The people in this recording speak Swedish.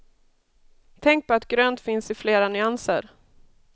Tänk på att grönt finns i flera nyanser.